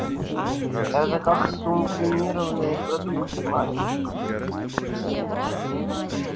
это как сублимированные продукты мальчик